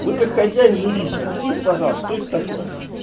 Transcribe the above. вы как хозяин жилища объясните пожалуйста что это такое